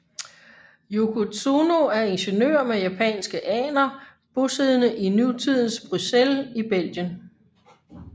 Yoko Tsuno er ingeniør med japanske aner bosiddende i nutidens Bruxelles i Belgien